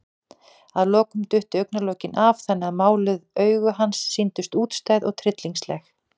Að lokum duttu augnalokin af, þannig að máluð augu hans sýndust útstæð og tryllingsleg.